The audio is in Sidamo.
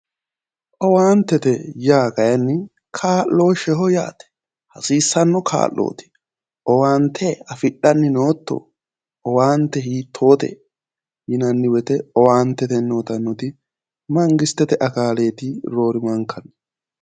Owaante yaa kayiinni kaa'looshsheeho yaate hasiissanno kaa'looti owaante afi'dhanni nootto owaante hiittote yinanni woyte owaante uytannoti mangistete akaaleeti roorimanka.